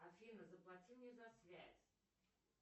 афина заплати мне за связь